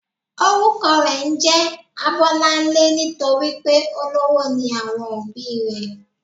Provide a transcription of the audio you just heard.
Orúkọ rè njé Abólánlé nítorípé olówó ni àwọn òbí i rè